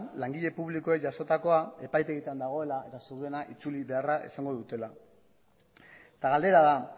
langileek publikoak jasotakoa epaitegietan dagoela eta seguruena itzuli beharra izango dutela eta galdera da